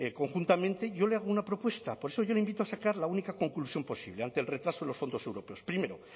conjuntamente yo le hago una propuesta por eso yo le invito a sacar la única conclusión posible ante el retraso de los fondos europeos primero